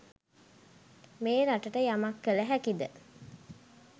මේ රටට යමක් කල හැකිද?